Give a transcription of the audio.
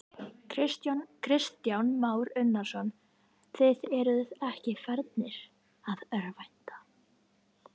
Kristján Már Unnarsson: Þið eruð ekki farnir að örvænta?